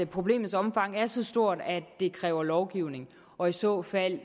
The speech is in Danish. problemets omfang er så stort at det kræver lovgivning og i så fald